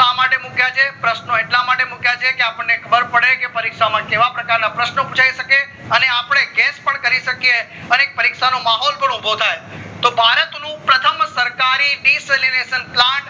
માટે મુક્યા છે પ્રશ્નો એટલા માટે મુક્યા છે કે અપ્દ્નને ખબર પડે કે પરીક્ષા માં કેવા રકારના પ્રશ્નો પુછાય શકે અને અપડે guess પણ કરી શકીએ અને પરીક્ષાનો માહોલ પણ ઉભો થાય તો ભારત નું પ્રથમ સરકારી deceleration plant માટે